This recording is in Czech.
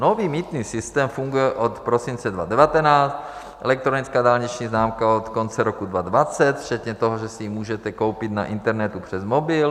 Nový mýtný systém funguje od prosince 2019, elektronická dálniční známka od konce roku 2020, včetně toho, že si ji můžete koupit na internetu přes mobil.